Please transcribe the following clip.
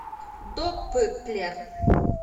допплер